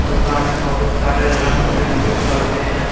दुकान में बहुत सारे रंग बिरंगे पर्दे हैं।